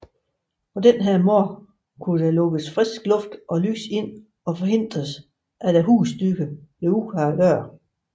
På den måde kunne lukkes frisk luft og lys ind og forhindres at husdyr løb ud ad døren